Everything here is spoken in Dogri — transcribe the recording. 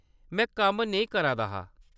में कम्म नेईं करा दा हा।